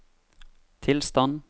tilstand